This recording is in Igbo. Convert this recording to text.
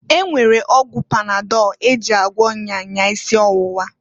E nwere ọgwụ panadọl e ji agwọ nya nya isi owuwa.